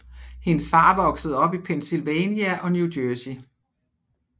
Hendes far voksede op i Pennsylvania og New Jersey